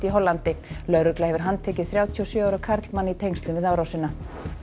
í Hollandi lögregla hefur þrjátíu og sjö ára karlmann í tengslum við árásina